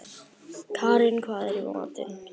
Karin, hvað er í matinn?